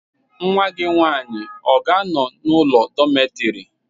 Nwa gị nwany ị ọ ga-anọ n'ụlọ dọmetịrị?